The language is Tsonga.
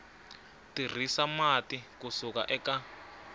tirhisa mati ku suka eka